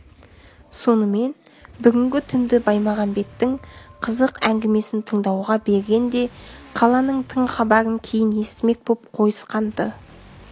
сонымен бүгінгі түнді баймағамбеттің қызық әңгімесін тыңдауға берген де қаланың тың хабарын кейін естімек боп қойысқан-ды